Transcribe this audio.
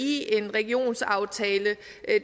i en regionsaftale